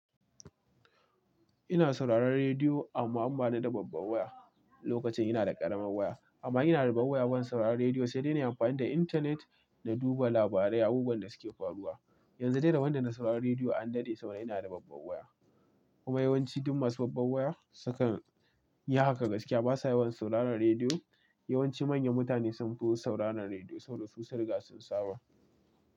Ina sauraron rediyo amma in bana da babban waya. Lokacin ina da ƙaramarvwaya amma in ina da babbar waya, ban sauraron rediyo sai dai na yi amfani da intanet na duba labarai da abubuwan da suke faruwa. Yanzu dai da rabon da na sauraron rediyo an daɗe saboda da ina da babbar waya. Kuma yawanci duk masu babbar waya su kan yi haka gaskiya basa yawan sauraron rediyo. Yawanci manyan mutane sun fi sauraron rediyo saboda su sun riga sun saba.